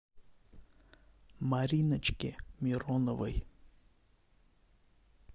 мариночке мироновой